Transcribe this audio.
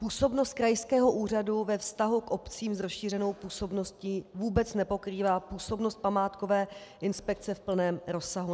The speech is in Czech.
Působnost krajského úřadu ve vztahu k obcím s rozšířenou působností vůbec nepokrývá působnost památkové inspekce v plném rozsahu.